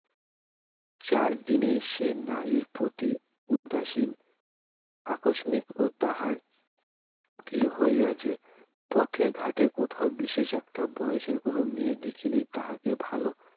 চিরদিনই সে নারীর প্রতি উদাসীন আকস্মিক ও তাঁহার কি হইয়াছে পথে ঘাটে কোথাও বিশেষ একটা বয়সের কোন মেয়ে দেখিলেই তাহাকে ভাল